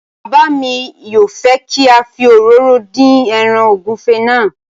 Bàbá mi yóò fẹ́ kí a fi òróró dín ẹràn ògúnfe náà